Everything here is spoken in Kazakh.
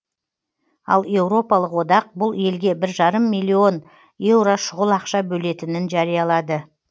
ал еуропалық одақ бұл елге бір жарым миллион еуро шұғыл ақша бөлетінін жариялады